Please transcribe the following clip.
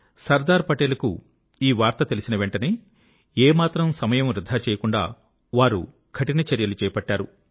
సర్దార్ పటేల్ కు ఈ వార్త తెలిసిన వెంటనే ఏమాత్రం సమయం వృథా చేయకుండా వారు కఠిన చర్యలు చేపట్టారు